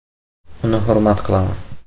Uni hurmat qilaman.